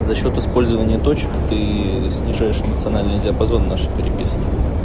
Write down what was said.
за счёт использования точек ты снижающий национальные диапазон нашей переписке